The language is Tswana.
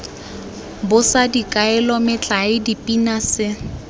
bosa dikaelo metlae dipina se